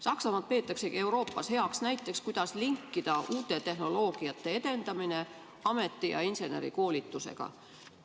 Saksamaad peetaksegi Euroopas heaks näiteks, kuidas linkida uute tehnoloogiate edendamine ameti- ja insenerikoolitusega.